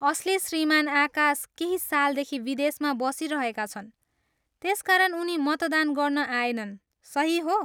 असली श्रीमान आकाश केही सालदेखि विदेशमा बसिरहेका छन्, त्यसकारण उनी मतदान गर्न आएनन्, सही हो?